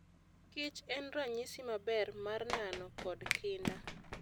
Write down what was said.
Kich en ranyisi maber mar nano kod kinda.